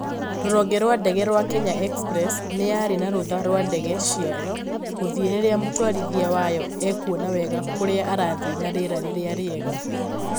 Rũhonge rwa ndege rwa Kenya Express nĩ yarĩ na rũtha rwa ndege ciayo gũthiĩ rĩrĩa mũtwarithia wayo ekuona wega kũrĩa arathiĩ na rĩera rĩrĩa riega